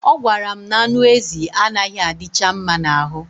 Ọ gwara m na anụ ezi anaghị adicha mma n'ahụ